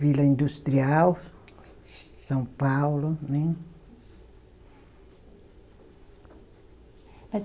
Vila Industrial, São Paulo, né?